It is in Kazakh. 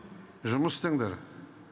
жұмыс істеңдер